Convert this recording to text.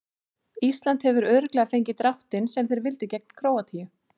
Ísland hefur örugglega fengið dráttinn sem þeir vildu gegn Króatíu.